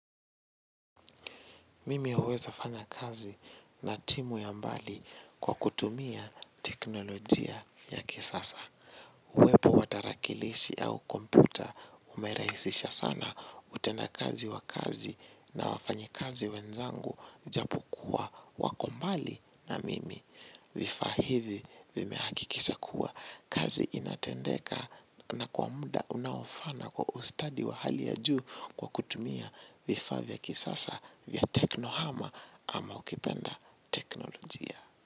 Mimi huweza fanya kazi na timu ya mbali kwa kutumia teknolojia ya kisasa. Uwepo wa tarakilishi au kompyuta umerahisisha sana utenda kazi wa kazi na wafanyi kazi wenzangu ijapo kuwa wako mbali na mimi. Vifaa hivi vimehakikisha kuwa kazi inatendeka na kwa muda unaofa na kwa ustadi wa hali ya juu kwa kutumia vifaa vya kisasa vya teknohama ama ukipenda teknolojia.